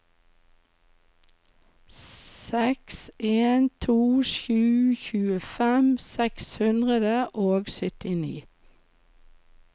seks en to sju tjuefem seks hundre og syttini